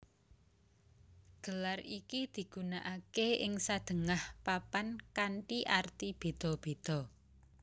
Gelar iki digunakaké ing sadéngah papan kanthi arti béda béda